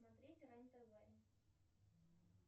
смотреть рен тв